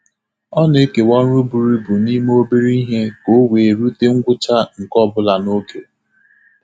Ọ na-ekewa ọrụ buru ibu n'ime obere ihe ka o wee rute ngwụcha nke ọ bụla n’oge.